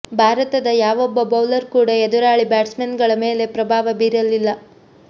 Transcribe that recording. ಭಾರತದ ಯಾವೊಬ್ಬ ಬೌಲರ್ ಕೂಡ ಎದುರಾಳಿ ಬ್ಯಾಟ್ಸ್ಮನ್ಗಳ ಮೇಲೆ ಪ್ರಭಾವ ಬೀರಲಿಲ್ಲ